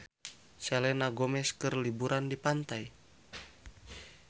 Selena Gomez keur liburan di pantai